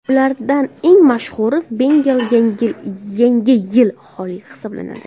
Ulardan eng mashhuri Bengal Yangi yili Xoli hisoblanadi.